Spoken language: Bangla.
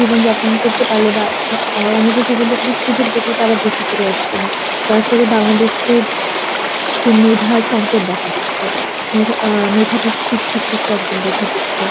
জীবন যাপন করতে পারলে বা বা~ আ~ অন্যদের জীবনযাপনের সুযোগ দেখে তারা দেশে ফিরে আসছে না যার ফলে বাংলাদেশকে যে মেধার সংকট দেখা দিচ্ছে মেধা~ আ মেধাবী শিক্ষার্থীর সংকট দেখা দিচ্ছে